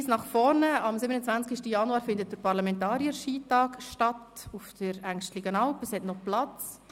Ein Hinweis: Am 27. Januar findet der Parlamentarier-Skitag auf der Engstligenalp statt, es hat noch freie Plätze.